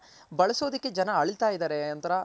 ಬಳಸೋದಕ್ ಜನ ಅಳ್ತಾ ಇದಾರೆ ಒಂತರ